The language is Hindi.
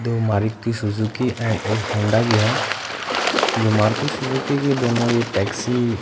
दो मारुती सुजुकी ऐंड एक हौंडा की है जो मारुती सुजुकी की दोनों ये टेक्सी --